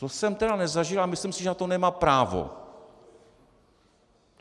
To jsem tedy nezažil a myslím si, že na to nemá právo.